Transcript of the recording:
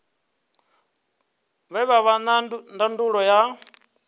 vha vhe na ndangulo ya